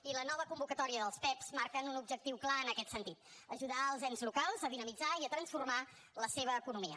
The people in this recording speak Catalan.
i la nova convocatòria dels pect marca un objectiu clar en aquest sentit ajudar els ens locals a dinamitzar i a transformar la seva economia